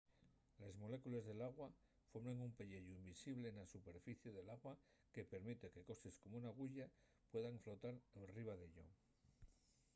les molécules d’agua formen un pelleyu invisible na superficie del agua que permite que coses como una aguya puedan flotar enriba d’ello